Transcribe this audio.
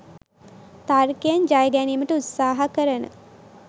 තර්කයෙන් ජයගැනීමට උත්සහ කරන